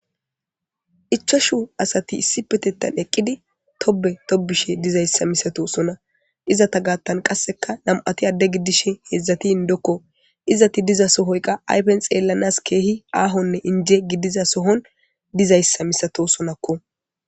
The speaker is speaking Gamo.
ichashu asati issipetetan eqqidi tobe tobishe dizayssa misato sona izata gaattan qasseka nam7ati adde giddishe heedzdzatiin dokko izati diza sohoyqa aypen xeellanas keehi aahonne inje gidiza sohon dizayssa misato sonakko